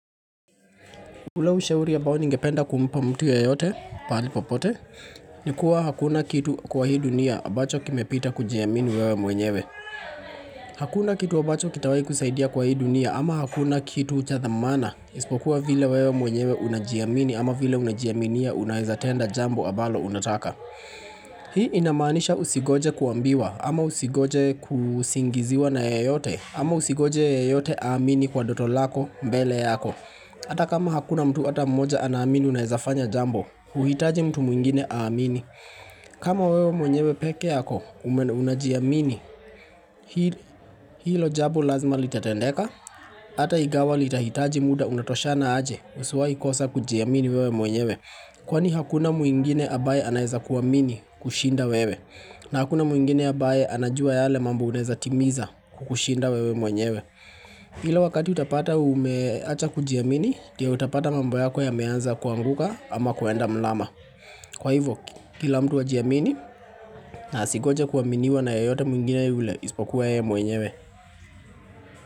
Ule ushauri ambao ningependa kumpa mtu yeyote pahali popote Nikuwa hakuna kitu kwa hii dunia ambacho kimepita kujiamini wewe mwenyewe Hakuna kitu ambacho kitawai kusaidia kwa hii dunia ama hakuna kitu cha thamana Ispokuwa vile wewe mwenyewe unajiamini ama vile unajiaminia unaweza tenda jambo ambalo unataka Hii inamaanisha usingoje kuambiwa ama usingoje kusingiziwa na yeyote ama usigoje yeyote aamini kwa ndoto lako mbele yako Ata kama hakuna mtu ata mmoja anaamini unaezafanya jambo, huhitaji mtu mwingine aamini. Kama wewe mwenyewe peke yako, ume unajiamini hilo jambo lazima litatendeka. Ata ingawa litahitaji muda unatoshana aje usiwai kosa kujiamini wewe mwenyewe. Kwani hakuna mwingine ambaye anaeza kuamini kushinda wewe. Na hakuna mwingine ambaye anajua yale mambo unaeza timiza kukushinda wewe mwenyewe. Ila wakati utapata umeacha kujiamini ndio utapata mambo yako yameanza kuanguka ama kuenda mrama Kwa hivyo kila mtu ajiamini na asingojae kuaminiwa na yeyote mwingine yule ispokuwa ya mwenyewe.